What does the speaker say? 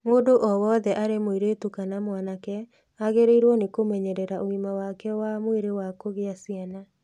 Mũndũ o wothe, arĩ mũirĩtu kana mwanake, agĩrĩirũo nĩ kũmenyerera ũgima wake wa mwĩrĩ wa kũgĩa ciana.